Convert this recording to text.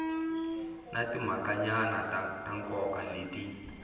na timhakanyana ta nkoka leti